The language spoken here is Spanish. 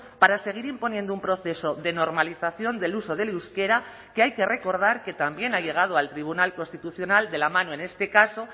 para seguir imponiendo un proceso de normalización del uso del euskera que hay que recordar que también ha llegado al tribunal constitucional de la mano en este caso